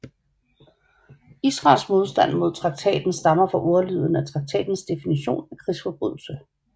Israels modstand mod traktaten stammer fra ordlyden af traktatens definition af krigsforbrydelse